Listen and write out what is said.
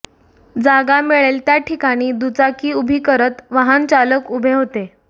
जागा मिळेल त्याठिकाणी दुचाकी उभी करत वाहन चालक उभे होते